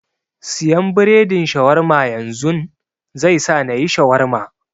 Siyan biredin Shawarma yanzun, zai sa nayi Shawarma.